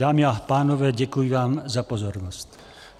Dámy a pánové, děkuji vám za pozornost.